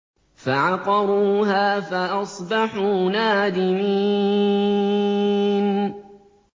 فَعَقَرُوهَا فَأَصْبَحُوا نَادِمِينَ